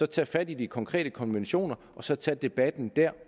tage fat i de konkrete konventioner og så tage debatten der